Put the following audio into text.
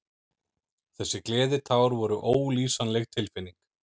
Þessi gleðitár voru ólýsanleg tilfinning.